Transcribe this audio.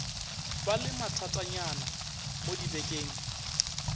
ba le mathatanyana mo dibekeng